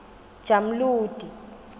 jamludi